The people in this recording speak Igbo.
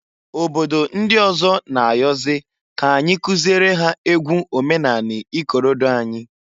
Obodo ndị ọzọ n'ayọzị k'anyị kụziere ha egwu omenanị ikorodo anyị.